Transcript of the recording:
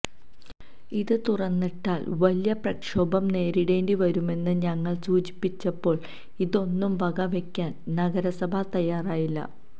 ഇത് തുറന്നിട്ടാൽ വലിയ പ്രക്ഷോഭം നേരിടേണ്ടി വരുമെന്ന് ഞങ്ങൾ സൂചിപ്പിച്ചപ്പോൾ ഇതൊന്നും വക വെയ്ക്കാൻ നഗരസഭ തയ്യാറായില്ല